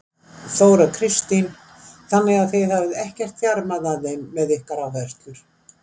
Þóra Kristín: Þannig að þið hafið ekkert þjarmað að þeim með ykkar áherslur?